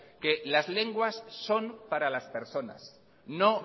que las lenguas son para las personas no